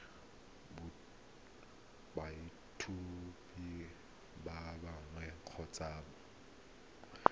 boitshupo ba boagi kgotsa boemo